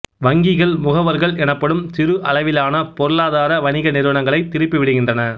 வங்கிகள் முகவர்கள் எனப்படும் சிறு அளவிலான பொருளாதார வணிக நிறுவனங்களைத் திருப்பிவிடுகின்றன